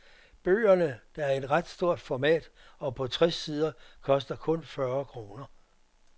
Bøgerne, der er i ret stort format og på tres sider, koster kun fyrre kroner.